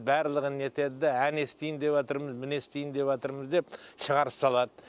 барлығын нетеді де әне істейін деватырмыз міне істейн деватырмыз деп шығарып салады